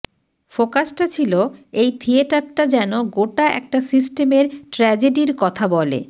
ফোকাসটা ছিল এই থিয়েটারটা যেন গোটা একটা সিস্টেমের ট্র্যাজেডির কথা বলে